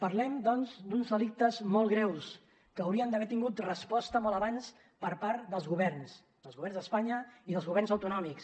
parlem doncs d’uns delictes molt greus que haurien d’haver tingut resposta molt abans per part dels governs dels governs d’espanya i dels governs autonòmics